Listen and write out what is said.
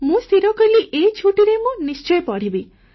ମୁଁ ସ୍ଥିର କଲି ଏ ଛୁଟିରେ ମୁଁ ନିଶ୍ଚୟ ପଢ଼ିବି